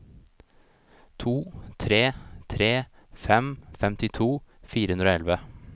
to tre tre fem femtito fire hundre og elleve